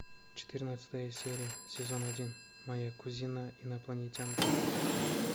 четырнадцатая серия сезон один моя кузина инопланетянка